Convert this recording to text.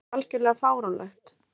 Þetta er algjörlega fáránlegt.